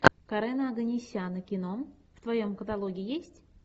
карена оганесяна кино в твоем каталоге есть